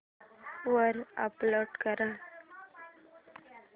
वर अपलोड कर